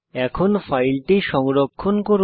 এখন ফাইলটি সংরক্ষণ করুন